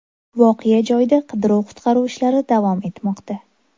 Voqea joyida qidiruv-qutqaruv ishlari davom etmoqda.